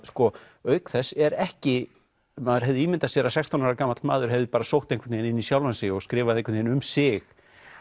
auk þess er ekki maður hefði ímyndað sér að sextán ára gamall maður hefði bara sótt einhvern veginn inn í sjálfan sig og skrifað einhvern veginn um sig